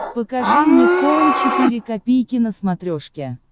покажи мне хоум четыре ка на смотрешке